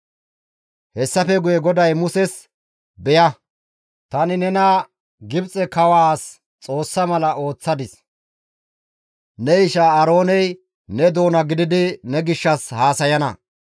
Hessafe guye GODAY Muses, «Beya; tani nena Gibxe kawaas Xoossa mala ooththadis; ne isha Aarooney ne doona gididi ne gishshas haasayana;